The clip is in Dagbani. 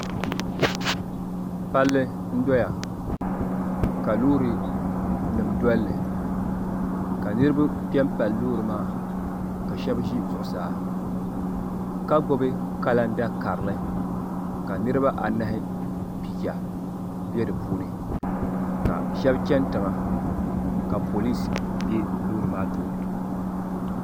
pali n duya ka lorinim duli ka niriba kpɛm pali lori maa ka shɛb ʒɛ zuɣ' saa ka gbabi kalanda kari ka niriba anahi piya bɛ di puuni ka shɛb chɛni tiŋa ka polisi bɛ lori maa tuuni